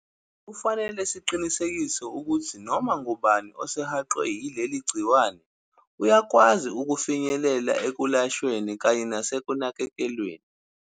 Kufanele siqinisekise ukuthi noma ngubani osehaqwe yileli gciwane uyakwazi ukufinyelela ekwelashweni kanye nasekunakekelweni.